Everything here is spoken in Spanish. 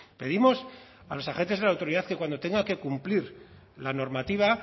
pedimos a los agentes de la autoridad que cuando tengan que cumplir la normativa